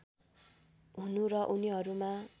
हुनु र उनीहरूमा